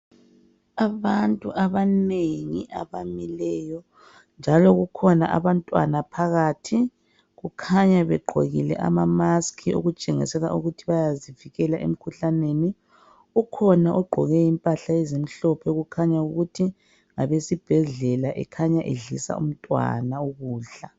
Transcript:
Abantu abanengi abamileyo njalo kukhona abantwana phakathi kukhanya begqokile ama mask okutshengisela ukuthi bayazivikela emkhuhlaneni ukhona ogqoke impahla ezimhlophe kukhanya ukuthi ngabesibhedlela ekhanya edlisa umntwana ukudla